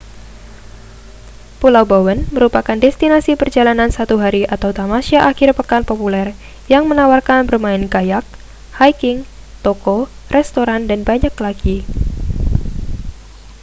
pulau bowen merupakan destinasi perjalanan satu hari atau tamasya akhir pekan populer yang menawarkan bermain kayak hiking toko restoran dan banyak lagi